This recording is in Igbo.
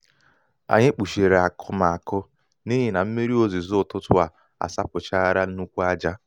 anyị kpuchiri akụmakụ n'ihi na mmírí ozizo ụtụtụ a sachapụla nnukwu ájá.